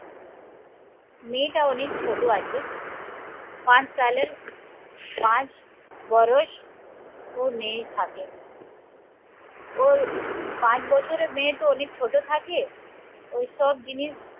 মেয়েটা অনেক ছোটো আছে পাঁচ সালের পাঁচ, বরস ও মেয়ে থাকে ওর পাঁচ বছরের মেয়ে তো অনেক ছোট থাকে. ওইসব জিনিস